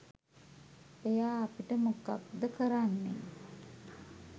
ඔයා අපිට මොකක්ද කරන්නෙ?